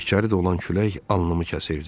İçəri dolan külək alnımı kəsirdi.